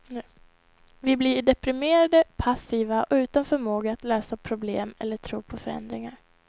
Vi blir deprimerade, passiva och utan förmåga att lösa problem eller tro på förändringar.